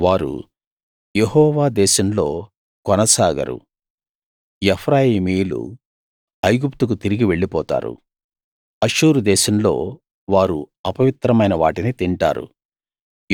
వారు యెహోవా దేశంలో కొనసాగరు ఎఫ్రాయిమీయులు ఐగుప్తుకు తిరిగి వెళ్ళిపోతారు అష్షూరు దేశంలో వారు అపవిత్రమైన వాటిని తింటారు